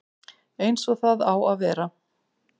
Eins og það á að vera